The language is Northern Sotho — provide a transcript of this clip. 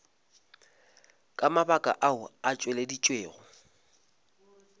ka mabaka ao a tšweleditšwego